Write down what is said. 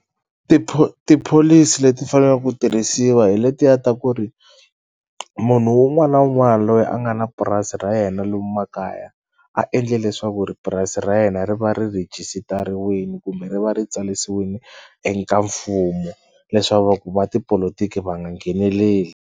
tipholisi leti fanelaka ku tirhisiwa hi letiya ta ku ri munhu wun'wana wun'wana loyi a nga na purasi ra yena lomu makaya a endle leswaku ri purasi ra yena ri va ri rhejisitariwini kumbe ri va ri tsarisiwini eka mfumo le swa va ku va tipolotiki va nga ngheneleli.